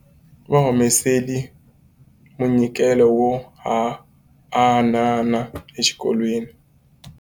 Va humesile munyikelo wo haanana exikolweni.